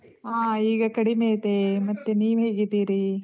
ಆಹ್ ಈಗ ಕಡಿಮೆ ಇದೆ. ಮತ್ತೆ ನೀವ್ ಹೇಗಿದ್ದೀರಿ?